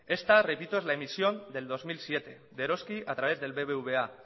esta repito es la emisión del dos mil siete de eroski a través del bbva